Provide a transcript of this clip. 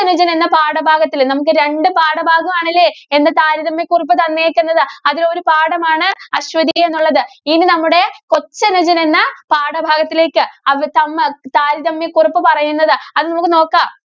~ജന്‍ എന്ന പാഠഭാഗത്തില് നമുക്ക് രണ്ടു പാഠഭാഗവും ആണല്ലേ ഇന്ന് താരതമ്യകുറിപ്പ് തന്നേക്കുന്നത്. അതിലെ ഒരു പാഠമാണ് അശ്വതി എന്നുള്ളത്. ഇനി നമ്മുടെ കൊച്ചനുജന്‍ എന്ന പാഠഭാഗത്തിലേക്ക് താരതമ്യ കുറിപ്പ് പറയുന്നത്. അത് നമ്മക്ക് നോക്കാം.